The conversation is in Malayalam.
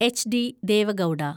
എച്ച്. ഡി. ദേവ ഗൗഡ